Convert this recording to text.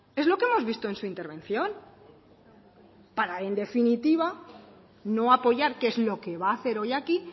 es lo que hemos visto en su intervención para en definitiva no apoyar que es lo que va a hacer hoy aquí